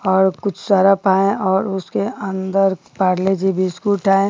और कुछ सर्फ़ हैं और उसके अंदर पारले-जी बिस्कुट है।